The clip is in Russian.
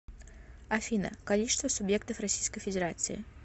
афина количество субъектов российской федерации